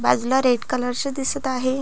बाजूला रेड कलरचे दिसत आहे.